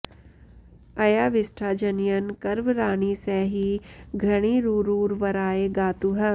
अ॒या वि॒ष्ठा ज॒नय॒न् कर्व॑राणि॒ स हि घृणि॑रु॒रुर्वरा॑य गा॒तुः